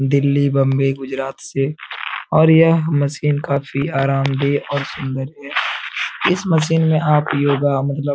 दिल्ली बॉम्बे गुजरात से और यह मशीन काफी आराम दे और सुंदर दे इस मशीन में आप योगा मतलब --